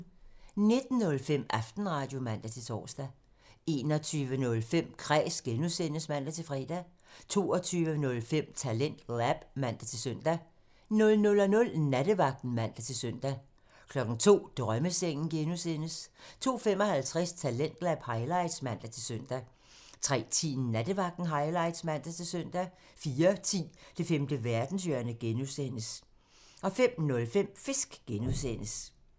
19:05: Aftenradio (man-tor) 21:05: Kræs (G) (man-fre) 22:05: TalentLab (man-søn) 00:00: Nattevagten (man-søn) 02:00: Drømmesengen (G) 02:55: Talentlab highlights (man-søn) 03:10: Nattevagten highlights (man-søn) 04:10: Det femte verdenshjørne (G) (man) 05:05: Fisk (G) (man)